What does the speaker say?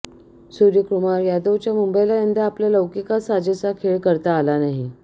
सूर्यकुमार यादवच्या मुंबईला यंदा आपल्या लौकिकास साजेसा खेळ करता आला नाही